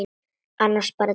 Annars bara Didda.